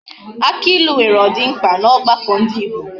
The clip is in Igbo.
Aki ilu nwere odimkpa na ogbako ndi Igbo